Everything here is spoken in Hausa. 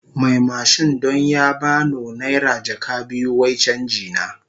Mai mashin don ya ba no naira jaka biyu wai canji na.